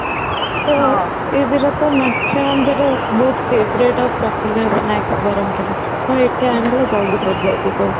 ତ ଇଏ ଦି ଟା ତ maximum ସେଠି ବହୁତ favorite ଆଉ popular snacks ବରମପୁରର ତ ଏଠି ଆଣିଲେ ଜଲ୍ଦି ସରି ଯାଏ ସେ ସବୁ